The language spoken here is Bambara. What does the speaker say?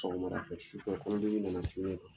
Sɔgɔmada fɛ, su fɛ Kɔnɔndimi dɔ de nana cun ne